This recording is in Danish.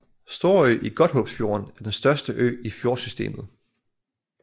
Storø i Godthåbsfjorden er den største ø i fjordsystemet